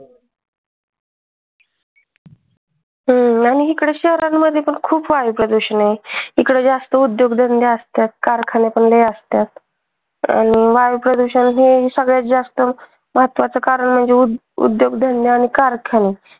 हम्म आणि इकडे शहरांमध्ये पण खूप वायू प्रदूषण आहे. इकडे जास्त उद्योग धंदे असतात कारखाने पण लय असतात आणि वायू प्रदूषण हे सगळ्यात जास्त महत्वाच कारण म्हणजे उद्योगधंदे अन कारखाने.